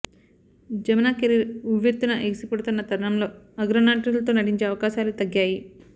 Jamuna career ఉవ్వెత్తున ఎగిసిపడుతున్న తరుణంలో అగ్రనటులతో నటించే అవకాశాలు తగ్గాయి